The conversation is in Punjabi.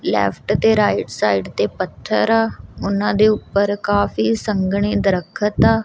ਲੇਫ਼੍ਟ ਤੇ ਰਾਇਟ ਸਾਈਡ ਤੇ ਪੱਥਰ ਆ ਓਹਨਾਂ ਦੇ ਊਪਰ ਕਾਫੀ ਸੰਘਣੇ ਦ੍ਰਖਤ ਆ।